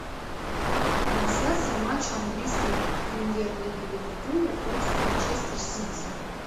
трансляция матча английской премьер лиги ливерпуля против манчестер сити